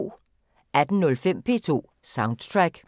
18:05: P2 Soundtrack